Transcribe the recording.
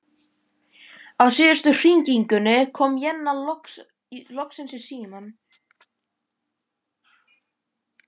Á síðustu hringingunni kom Jenna loksins í símann.